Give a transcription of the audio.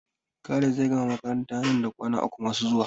Khalid zai gama makaranta nan da kwana uku masu zuwa.